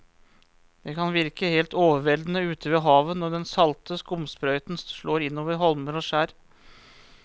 Det kan virke helt overveldende ute ved havet når den salte skumsprøyten slår innover holmer og skjær.